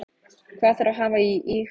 Hvað þarf að hafa í huga?